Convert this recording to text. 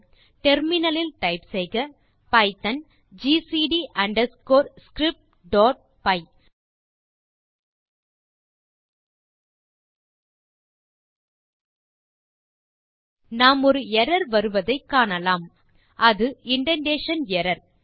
terminal லில் type செய்க python GCD underscore scriptபை நாம் ஒரு எர்ரர் வருவதை காணலாம் அது இண்டென்டேஷன் எர்ரர்